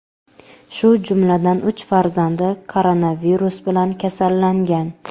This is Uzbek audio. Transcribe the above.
shu jumladan uch farzandi koronavirus bilan kasallangan.